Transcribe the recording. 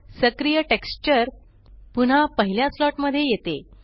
सक्रिय टेक्स्चर पुन्हा पहिल्या स्लॉट मध्ये येते